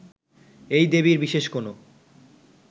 এই দেবীর বিশেষ কোন